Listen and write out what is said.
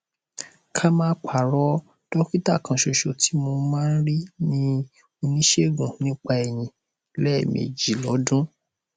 ká má parọ dọkítà kanṣoṣo tí mo máa ń rí ni oníṣègùn nípa eyín lẹẹmejì lọdún